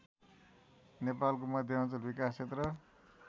नेपालको मध्यमाञ्चल विकास क्षेत्र